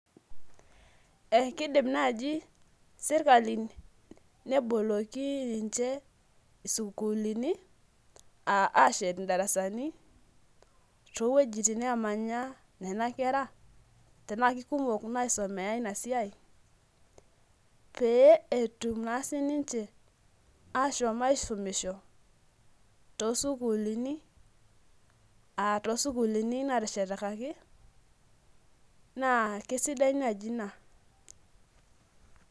eekidim naaji sirkali neboloki ninche sukuulini, aashet darasani, too wuejitin naamanya nena kera. tenaa kikumok inaisomea ina siai, pee etum naa sii ninche aashom aisumisho toosukuulini, aa toosukuulini naateshetakaki, naa kisidai naaji ina.